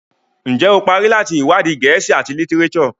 Njé o parí láti iwadi Gèésì at litireso?